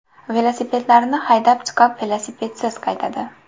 Velosipedlarini haydab chiqib, velosipedsiz qaytadi.